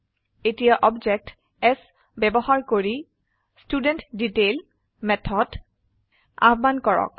এতিয়া object s ব্যবহাৰ কৰি ষ্টুডেণ্টডিটেইল মেথড আহ্বান কৰক